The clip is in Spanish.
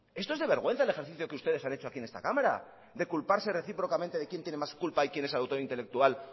esto es de vergüenza el ejercicio que ustedes han hecho aquí en esta cámara de culparse recíprocamente de quién tiene más culpa y quién es autor intelectual